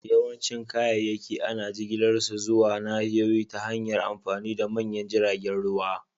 Yawancin kayayyaki ana jigilar su zuwa nahiyoyi ta hanyar amfani da manyan jiragen ruwa